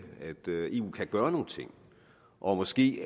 eu kan gøre nogle ting og måske